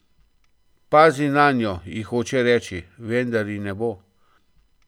Pazi nanjo, ji hoče reči, vendar ji ne bo.